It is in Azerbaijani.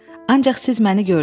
Ancaq siz məni gördüz.